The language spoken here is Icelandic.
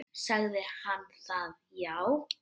Sagði hann það já.